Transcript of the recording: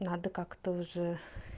надо как-то уже